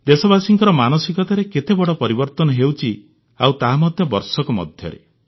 ଦେଶବାସୀଙ୍କ ମାନସିକତାରେ କେତେ ବଡ଼ ପରିବର୍ତ୍ତନ ହେଉଛି ଆଉ ତାହା ମଧ୍ୟ ବର୍ଷକ ମଧ୍ୟରେ